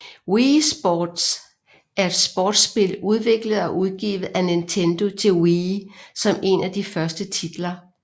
Wii Sports er et sportsspil udviklet og udgivet af Nintendo til Wii som en af de første titler